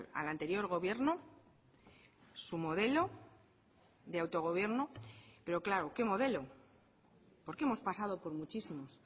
al anterior gobierno su modelo de autogobierno pero claro qué modelo porque hemos pasado por muchísimos